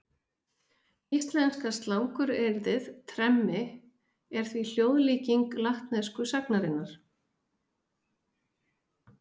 Íslenska slanguryrðið tremmi er því hljóðlíking latnesku sagnarinnar.